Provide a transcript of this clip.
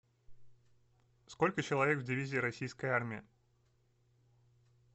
сколько человек в дивизии российской армии